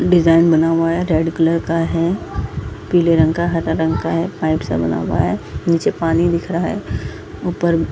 Design बना हुआ है रेड कलर का है पीले रंग का हरा रंग का है पाइप से बना हुवा है नीचे पानी दिख रहा है उपर .